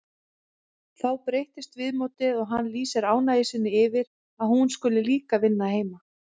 Þá breytist viðmótið og hann lýsir ánægju sinni yfir að hún skuli líka vinna heima.